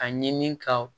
A ɲini ka